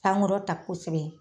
Sankɔrɔta kosɛbɛ